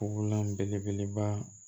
belebeleba